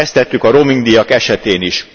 Ezt tettük a roamingdíjak esetén is.